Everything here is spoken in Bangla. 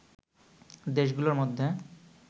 দেশগুলোর মধ্যে